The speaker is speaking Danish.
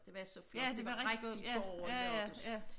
Det var så flot det var rigtig forår i lørdags